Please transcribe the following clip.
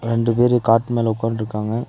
ரெண்டு பேரு காட் மேல ஒக்கான்ருக்காங்க.